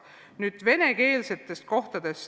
Nüüd venekeelsetest koolidest.